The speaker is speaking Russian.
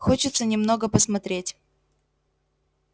хочется немного посмотреть